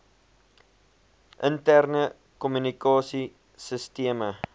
interne kommunikasie sisteme